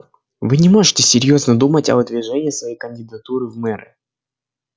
вы не можете серьёзно думать о выдвижении своей кандидатуры в мэры